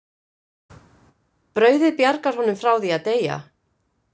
Brauðið bjargar honum frá að deyja.